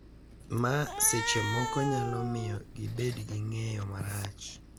Ma seche moko nyalo miyo gibed gi ng’eyo marach,